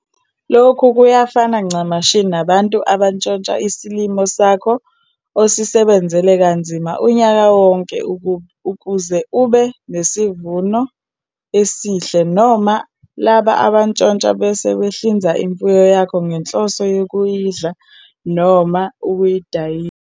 Lokhu kuyafana ncamashi nabantu abantshontsha isilimo sakho osisebenzele kanzima unyaka wonke ukuze ube nesivuno esihle, noma labo abantshontsha bese behlinza imfuyo yakho ngenhloso yokuyidla noma ukuyidayi.